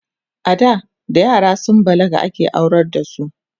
ada da yara sun balaga ake aurar da su